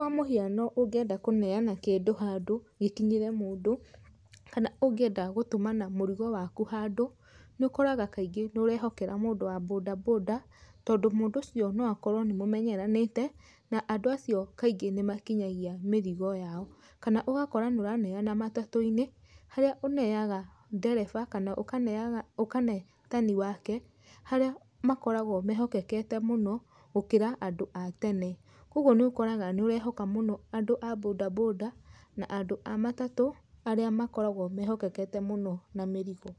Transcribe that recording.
Kwa mũhiano ũngĩenda kũneana kĩndũ handũ gĩkinyĩre mũndũ, kana ũngĩenda gũtũmana mũrigo waku handũ, nĩ ũkoraga kaingĩ nĩ ũrehokera mũndũ wa bodaboda tondũ mũndũ ũcio noakorwo nĩ mũmenyeranĩte, na andũ acio kaingĩ nĩmakinyagia mĩrigo yao. Kana ũgakora nĩũraneana matatũ-inĩ, harĩa ũneaga ndereba, kana ũkaneaga, ũkane tani wake, harĩa makoragwo mehokekete mũno gũkĩra andũ a tene. Ũguo nĩ ũkoraga nĩ ũrehoka mũno andũ a bodaboda na andũ a matatũ, arĩa makoragwo mehokekete mũno na mĩrigo.